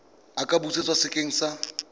a ka busetswa sekeng sa